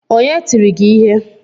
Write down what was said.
Onye tiri gi ihe?